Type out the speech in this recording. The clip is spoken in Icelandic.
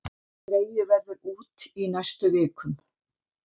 Dregið verður út í næstu vikum